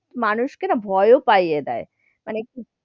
মানুষ কে না ভয় ও পাইয়ে দেয়, মানে,